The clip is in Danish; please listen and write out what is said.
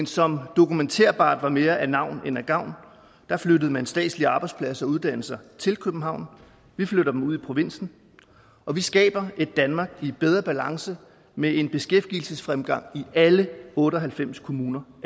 som dokumenterbart var det mere af navn end af gavn der flyttede man statslige arbejdspladser og uddannelser til københavn vi flytter dem ud i provinsen og vi skaber et danmark i bedre balance med en beskæftigelsesfremgang i alle otte og halvfems kommuner